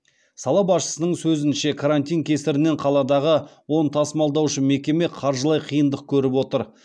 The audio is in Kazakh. сала басшысының сөзінше карантин кесірінен қаладағы он тасымалдаушы мекеме қаржылай қиындық көріп отыр